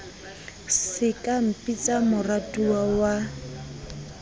se ka mpitsa moratuwa wa